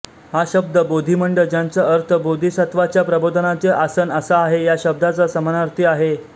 हा शब्द बोधिमंड ज्याचा अर्थ बोधिसत्त्वाच्या प्रबोधनाचे आसन असा आहे या शब्दाचा समानार्थी नाही